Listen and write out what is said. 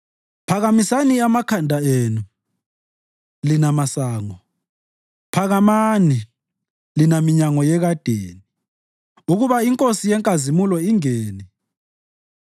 Phakamisani amakhanda enu, lina masango; phakamani, lina minyango yekadeni, ukuba iNkosi yenkazimulo ingene.